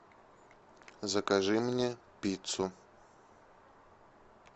закажи мне пиццу